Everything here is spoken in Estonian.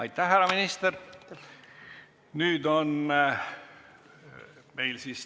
Aitäh, härra minister!